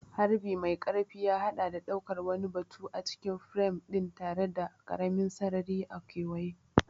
Harbi mai ƙarfi ya haɗa da ɗaukar wani batu a cikin firam ɗin tare da ƙaramin sarari a kewaye.